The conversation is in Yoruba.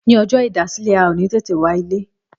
Ní ọjọ́ ìdásílẹ̀, a ò ní tètè wá ilé